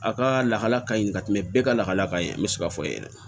A ka lahala ka ɲi ka tɛmɛ bɛɛ ka lahala ka ɲi n bɛ se k'a fɔ ye dɛ